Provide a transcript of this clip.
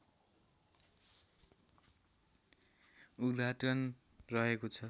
उद्घाटन रहेको छ